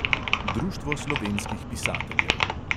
Društvo slovenskih pisateljev.